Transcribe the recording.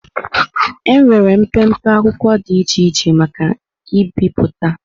Enwere mpempe akwụkwọ dị iche iche maka ibipụta.